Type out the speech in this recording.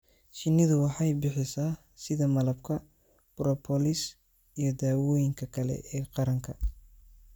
shinnidu waxay bixisaa sida malabka, propolis iyo dawooyinka kale ee qaranka.